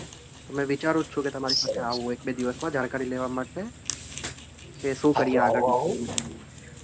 તો મે વિચારું જ છું કે તમારી સાથે આવું એક બે દિવસ માં જાણકારી લેવા માટે